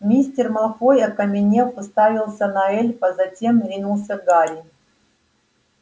мистер малфой окаменев уставился на эльфа затем ринулся к гарри